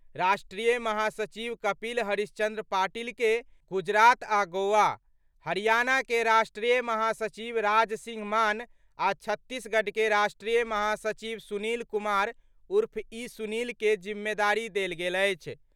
राष्ट्रीय महासचिव कपिल हरिश्चंद्र पाटिल के गुजरात आ गोवा, हरियाणा के राष्ट्रीय महासचिव राज सिंह मान आ छत्तीसगढ़ के राष्ट्रीय महासचिव सुनील कुमार उर्फ ई सुनील के जिम्मेदारी देल गेल अछि।